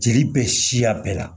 Jeli bɛ siya bɛɛ la